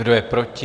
Kdo je proti?